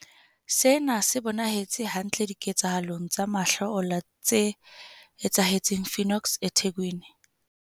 Sena se bonahetse hantle diketsahalong tsa mahlo ola tse etsahetseng Phoenix eThekwini.